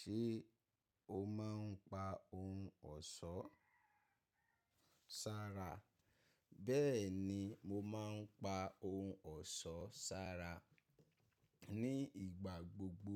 Ṣé o má ń pa ohun ọ̀ṣọ́ sára? Bẹ́ẹ̀ni, mo má ń pa ohun ọ̀ṣọ́ sára. Ni ìgbà gbogbo